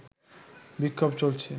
বিক্ষোভ চলছে